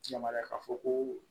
Yamaruya k'a fɔ ko